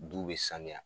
Du bɛ sanuya